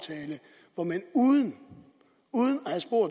uden